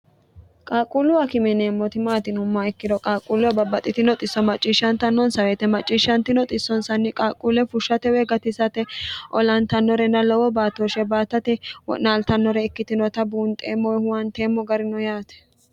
qaaqquulluwa akime yineemmoti maati yinumma ikkiro qaaqquulluwa babbaxxitinoxisso macciishshantannonsaweete macciishshanti noxissonsanni qaaqquulle fushshatewe gatisate olantannorenna lowo baatooshshe baattate wo'naaltannore ikkitinota buunxeemmoe huwanteemmo garino yaate